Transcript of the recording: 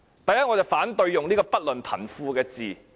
首先，我反對使用"不論貧富"這字眼。